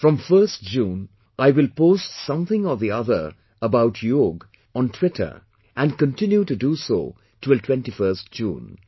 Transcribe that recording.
From 1st June, I will post something or the other about Yoga on twitter and continue to do so till 21st June